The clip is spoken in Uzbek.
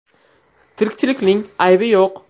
Tirikchilikning aybi yo‘q.